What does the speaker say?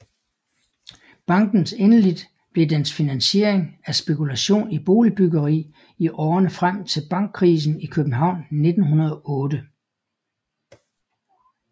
Bankens endeligt blev dens finansiering af spekulation i boligbyggeri i årene frem til bankkrisen i København 1908